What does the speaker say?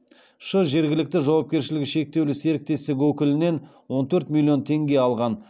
ш жергілікті жауапкершілігі шектеулі серіктестігінің өкілінен он төрт миллион теңге алған